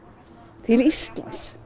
til Íslands